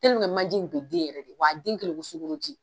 manje in tun bɛ den yɛrɛ de wa den kɛlen i ko sukoroji